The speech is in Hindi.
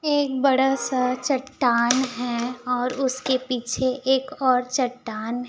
एक बड़ा सा चट्टान है और उसके पीछे एक और चट्टान--